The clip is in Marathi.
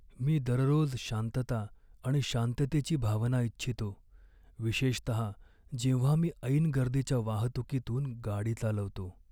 मी दररोज शांतता आणि शांततेची भावना इच्छितो, विशेषतः जेव्हा मी ऐन गर्दीच्या वाहतुकीतून गाडी चालवतो.